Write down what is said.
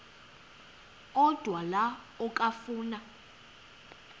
odwa la okafuna